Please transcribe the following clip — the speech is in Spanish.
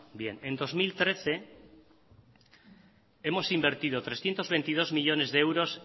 bien en dos mil trece hemos invertido trescientos veintidós millónes de euros